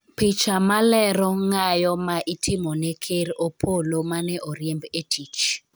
picha malero ng'ayo ma itimone ker Opollo mane oriemb e tich